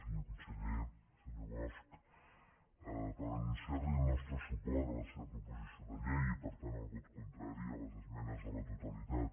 senyor conseller senyor bosch per anunciar·li el nostre suport a la seva propo·sició de llei i per tant el vot contrari a les esmenes a la totalitat